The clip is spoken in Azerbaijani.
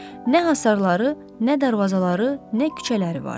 Nə hasarları, nə darvazaları, nə küçələri vardı.